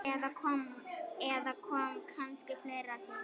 Eða kom kannski fleira til?